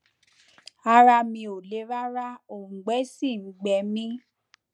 ara mi ò le rárá òùngbẹ sì ń gbẹ mí